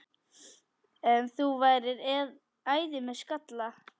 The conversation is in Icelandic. Þú værir æði með skalla!